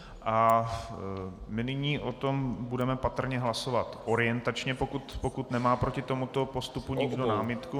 A my nyní o tom budeme patrně hlasovat orientačně, pokud nemá proti tomuto postupu nikdo námitku.